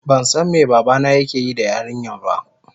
bansan me babana yakeyi da yarinyar ba.